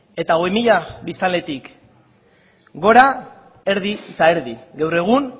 eta hogei mila biztanletik gora erdi eta erdi gaur egun